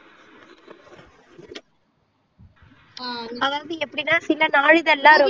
ஆஹ் அதாவது எப்படின்னா சில நாளிதழ் எல்லாம் ரொம்ப